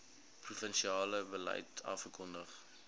provinsiale beleid afgekondig